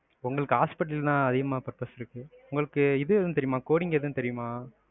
உங்களுக்கு hospital தான் அதிகமா purpose இருக்கு. உங்களுக்கு இது எதும் தெரியுமா? coding எதும் தெரியுமா?